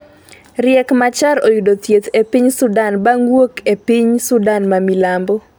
Riek Machar oyudo thieth e piny Sudan bang' wuok e piny Sudan ma Milambo